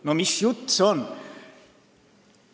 No mis jutt see on?